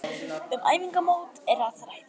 Um æfingamót er að ræða.